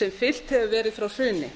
sem fylgt hefur verið frá hruni